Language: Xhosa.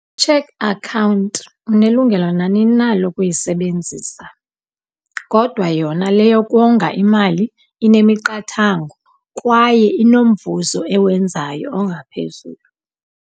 Check account unelungelo nanini na lokuyisebenzisa, kodwa yona le yokonga imali inemiqathango kwaye inomvuzo ewenzayo ongaphezulu.